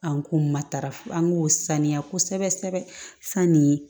An k'u matarafo an k'o saniya kosɛbɛ kosɛbɛ sanni